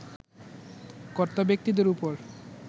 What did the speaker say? কর্তাব্যক্তিদের ওপর